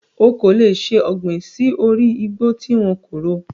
O kò lè ṣe ọ̀gbìn sí orí igbó tí wọn kò ro.